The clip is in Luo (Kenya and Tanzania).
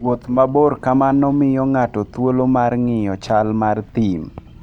Wuoth mabor kamano miyo ng'ato thuolo mar ng'iyo chal mar thim.